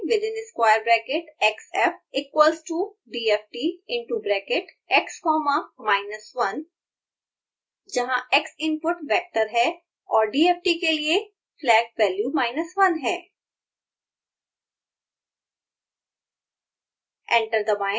फिर टाइप करें within square bracket xf equals to dft into bracket x comma minus 1 जहाँ x input vector है और dft के लिए फ्लैग वैल्यू 1 है